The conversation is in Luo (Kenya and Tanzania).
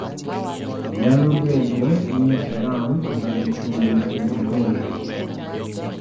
Nyalo bedo ni Iran omedo chumbi e adhola.